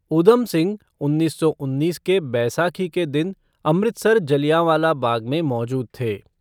उधम सिंह उन्नीस सौ उन्नीस के बैसाखी के दिन अमृतसर के जलियाँवाला बाग में मौजूद थे।